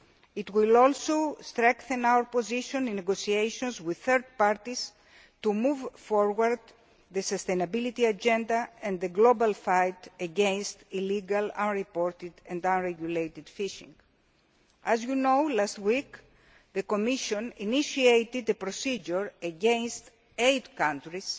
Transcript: new image. It will also strengthen our position in negotiations with third parties to move forward the sustainability agenda and the global fight against illegal, unreported and unregulated fishing. As you know, last week, the Commission initiated a procedure against eight